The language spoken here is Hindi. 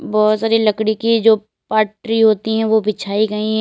बहोत सारी लकड़ी की जो पाटरी होती है वो बिछाई गईं हैं।